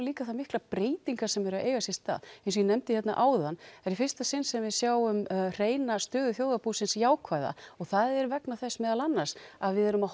líka það miklar breytingar sem eru að eiga sér stað eins og ég nefndi hérna áðan það er í fyrsta sinn sem við sjáum hreina stöðu þjóðarbúsins jákvæða og það er vegna þess meðal annars að við erum að